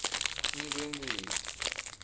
inkhwekhweti